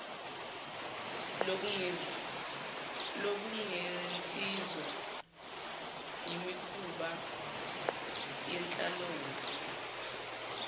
lokungenziswa imikhuba yenhlalonhle